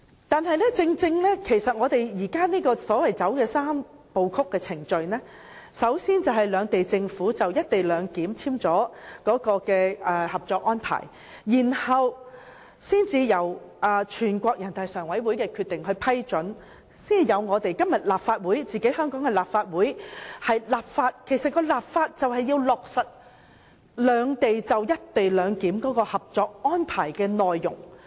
然而，我們現時採用的是"三步走"程序，先由兩地政府就"一地兩檢"簽署《合作安排》，再由全國人民代表大會常務委員會作出批准《合作安排》的《決定》，才有今天香港立法會的立法程序，旨在落實兩地就"一地兩檢"的《合作安排》的內容。